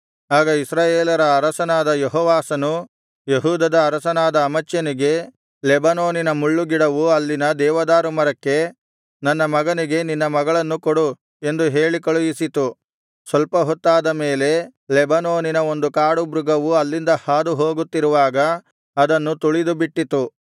ಆಗ ಇಸ್ರಾಯೇಲರ ಅರಸನಾದ ಯೆಹೋವಾಷನು ಯೆಹೂದದ ಅರಸನಾದ ಅಮಚ್ಯನಿಗೆ ಲೆಬನೋನಿನ ಮುಳ್ಳು ಗಿಡವು ಅಲ್ಲಿನ ದೇವದಾರುಮರಕ್ಕೆ ನನ್ನ ಮಗನಿಗೆ ನಿನ್ನ ಮಗಳನ್ನು ಕೊಡು ಎಂದು ಹೇಳಿ ಕಳುಹಿಸಿತು ಸ್ವಲ್ಪ ಹೊತ್ತಾದ ಮೇಲೆ ಲೆಬನೋನಿನ ಒಂದು ಕಾಡು ಮೃಗವು ಅಲ್ಲಿಂದ ಹಾದುಹೋಗುತ್ತಿರುವಾಗ ಅದನ್ನು ತುಳಿದುಬಿಟ್ಟಿತು